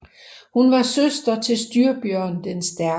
Hun var søster til Styrbjørn den Stærke